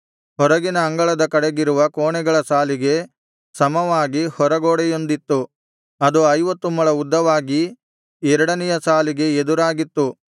ಹೊರಗಿನ ಅಂಗಳದ ಕಡೆಗಿರುವ ಕೋಣೆಗಳ ಸಾಲಿಗೆ ಸಮವಾಗಿ ಹೊರಗೋಡೆಯೊಂದಿತ್ತು ಅದು ಐವತ್ತು ಮೊಳ ಉದ್ದವಾಗಿ ಎರಡನೆಯ ಸಾಲಿಗೆ ಎದುರಾಗಿತ್ತು